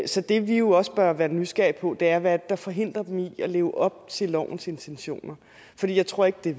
så det vi jo også bør være nysgerrige på er hvad det der forhindrer dem i at leve op til lovens intentioner for jeg tror ikke det